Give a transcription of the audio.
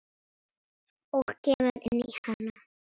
Og kemur inn í hana.